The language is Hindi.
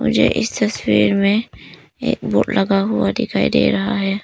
मुझे इस तस्वीर में एक बोर्ड लगा हुआ दिखाई दे रहा है।